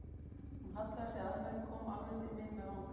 Hún hallaði sér að mér, kom alveg til mín með vangann.